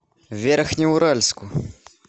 верхнеуральску